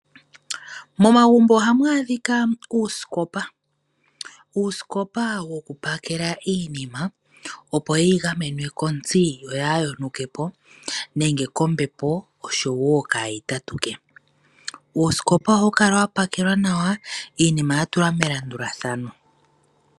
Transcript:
Momagumbo ohamu adhika uusikopa woku pakela iinima opo yeyi gamene kotsi yo yaayonuke po nenge kombepo soho wo kaayi tatuke po. Uusikopa ohawu kala wa pakelwa nawa iinima ya tulwa melandulathano.